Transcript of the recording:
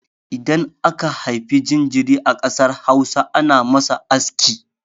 Idan aka haifa jinjiri a ƙasar Hausa, ana masa aski.